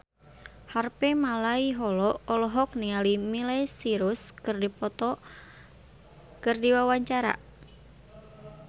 Harvey Malaiholo olohok ningali Miley Cyrus keur diwawancara